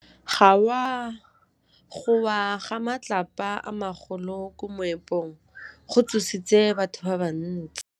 Go wa ga matlapa a magolo ko moepong go tshositse batho ba le bantsi.